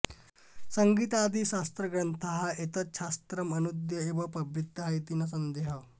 सङीतादिशास्त्रग्रन्थाः एतच्छास्त्रम् अनूद्य एव प्रवृत्ताः इति न सन्देहः